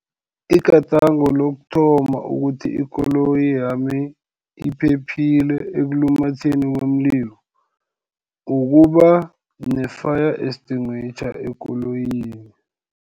Igadango lokuthoma ukuthi ikoloyi yami iphephile ekulumatheni komlilo, ukuba ne-fire extinguisher ekoloyini.